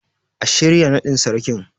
A shirya naɗin Sarkin.